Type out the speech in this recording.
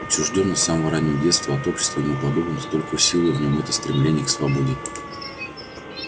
отчуждённость с самого раннего детства от общества ему подобных только усилила в нем это стремление к свободе